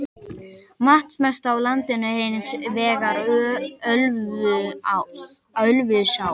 Vatnsmesta á landsins er hins vegar Ölfusá.